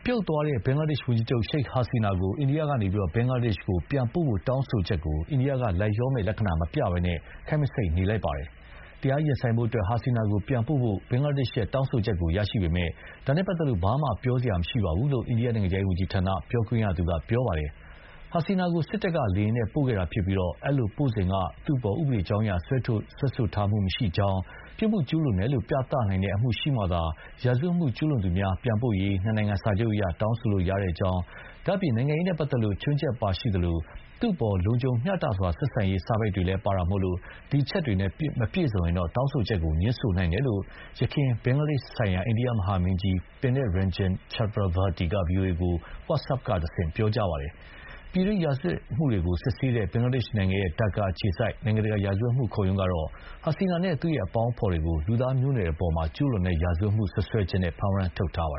ြုတ်သွားတဲ့ ဘင်္ဂလားဒေ့ရှ် ဝန်ကြီးချုပ် ရှိတ်ဟာစီနာကို အိန္ဒိယကနေ ဘင်္ဂလားဒေ့ရှ် ပြန်ပို့ဖို့ တောင်းဆိုတာကို အိန္ဒိယက လိုက်လျောမယ့် လက္ခဏာ မပြသဘဲ၊ ခပ်မဆိတ် နေလိုက်ပါတယ်။ တရားရင်ဆိုင်ဖို့အတွက် ဟာစီနာကို ပြန်ပို့ဖို့ ဘင်္ဂလားဒေ့ရှ်ရဲ့ တောင်းဆိုချက်ကို ရရှိပေမဲ့၊ ဒါနဲ့ပတ်သက်လို့ ဘာမှပြောစရာမရှိပါဘူးလို့ အိန္ဒိယ နိုင်ငံခြားရေးဝန်ကြီးဌာန ပြောရေးဆိုခွင့်ရှိသူ ရန်ဒီအာ ဂျေစဝဲလ် Randhir Jaiswal က ပြောပါတယ်။ ဟာစီနာကို စစ်တပ်က လေယာဥ်နဲ့ ပို့ခဲ့တာဖြစ်ပြီး အဲဒီလိုပို့စဥ်က သူ့အပေါ် ဥပဒေကြောင်းအရ စွဲဆိုထားတာ မရှိကြောင်း၊ ပြစ်မှုကျူးလွန်တယ်လို့ ပြသနိုင်တဲ့ အမှုရှိမှသာ ရာဇဝတ်မှု ကျူးလွန်သူများ ပြန်ပို့ရေး နှစ်နိုင်ငံ စာချုပ် အရ တောင်းဆိုလို့ရကြောင်း၊ ဒါ့အပြင် နိုင်ငံရေးနဲ့ ပတ်သက်လို့ ခြွင်းချက်ပါရှိသလို၊ သူ့အပေါ် လုံခြုံ မျှတစွာဆက်ဆံရေး စာပိုဒ်တွေလည်းပါတာမို့ ဒီအချက်တွေနဲ့ မပြည့်စုံရင် တောင်းဆိုချက်ကို ငြင်းဆိုနိုင်ပါတယ်လို့ ယခင် ဘင်္ဂလားဒေ့ရှ်ဆိုင်ရာ အိန္ဒိယ မဟာမင်းကြီး Pinak Ranjan Chakravarty က ဗွီအိုအေကို WhatsApp ကတဆင့် ပြောကြားပါတယ်။ ပြည်တွင်း စစ်ရာဇဝတ်မှုတွေကို စစ်ဆေးတဲ့ ဘင်္ဂလားဒေ့ရှ်နိုင်ငံ၊ ဒက္ကားမြို့အခြေစိုက် နိုင်ငံတကာ ရာဇဝတ်မှု ခုံရုံးကတော့ ဟာစီနာနဲ့ သူ့ အပေါင်းအဖော်တွေကို လူသားမျိုးနွယ်အပေါ် ကျူးလွန်တဲ့ ရာဇဝတ်မှု စွပ်စွဲချက်နဲ့ ဖမ်းဝရမ်း ထုတ်ထားတာပါ